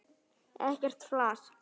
Ekkert flas!